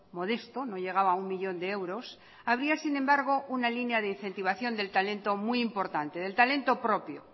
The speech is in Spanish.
modesto no llegaba a uno millón de euros había sin embargo una línea de incentivación del talento muy importante del talento propio